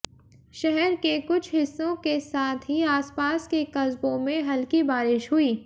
शहर के कुछ हिस्सों के साथ ही आसपास के कस्बों में हल्की बारिश हुई